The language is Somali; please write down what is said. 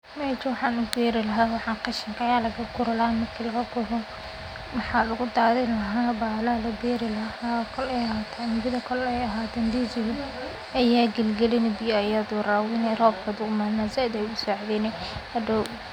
Taneyto waxan u beri laha qashinka aya laga guri lahaa kol ay ahato ndiziga ayad galgalini biya ayaad warabini rob hadu imadona zaid ayaad u sacideyni.